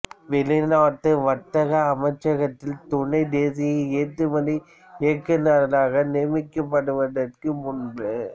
வெளிநாட்டு வர்த்தக அமைச்சகத்தில் துணை தேசிய ஏற்றுமதி இயக்குநராக நியமிக்கப்படுவதற்கு முன்பு